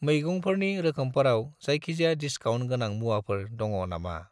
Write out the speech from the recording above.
मैगंफोरनि रोखोमफोराव जायखिजाया डिसकाउन्ट गोनां मुवाफोर दङ नामा?